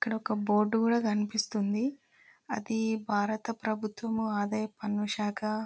ఇక్కడ ఒక బోర్డు కూడా కనిపిస్తుంది. అది భారత ప్రభుత్వము ఆదాయ పన్ను శాఖ--